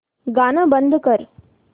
गाणं बंद कर